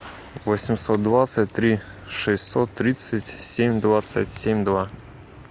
восемьсот двадцать три шестьсот тридцать семь двадцать семь два